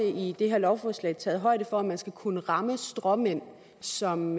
i det her lovforslag også taget højde for at man skal kunne ramme de stråmænd som